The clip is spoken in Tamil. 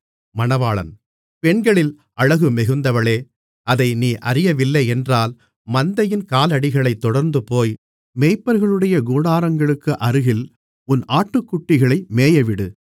பெண்களில் அழகு மிகுந்தவளே அதை நீ அறியவில்லையென்றால் மந்தையின் காலடிகளைத் தொடர்ந்துபோய் மேய்ப்பர்களுடைய கூடாரங்களுக்கு அருகில் உன் ஆட்டுக்குட்டிகளை மேயவிடு